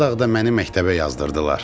Qaradağda məni məktəbə yazdırdılar.